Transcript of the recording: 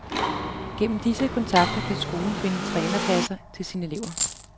Gennem disse kontakter kan skolen finde trænerpladser til sine elever.